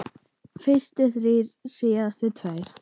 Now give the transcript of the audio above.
Fyrst þrír, síðar tveir.